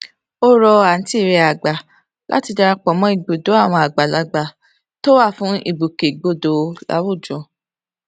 ó rọ àǹtí rẹ àgbà láti dara pọ mọ ibùdó àwọn àgbàlagbà tó wà fún ìgbòkègbodò láwùjọ